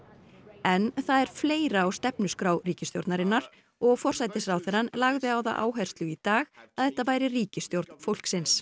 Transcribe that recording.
en það er fleira á stefnuskrá ríkisstjórnarinnar og forsætisráðherrann lagði á það áherslu í dag að þetta væri ríkisstjórn fólksins